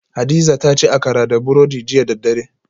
Hadiza ta ci Akara da burodi jiya da daddare